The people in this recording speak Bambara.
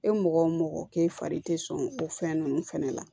E mɔgɔ o mɔgɔ k'e fari tɛ sɔn o fɛn ninnu fɛnɛ la